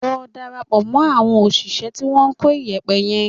Lọ darapọ̀ mọ́ àwọn òṣìṣẹ́ tí wọ́n ń kó iyẹ̀pẹ̀ yẹn